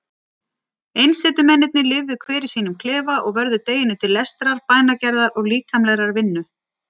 Einsetumennirnir lifðu hver í sínum klefa og vörðu deginum til lestrar, bænagerðar og líkamlegrar vinnu.